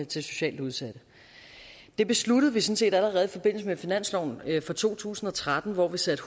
til socialt udsatte det besluttede vi sådan set allerede i forbindelse med finansloven for to tusind og tretten hvor vi satte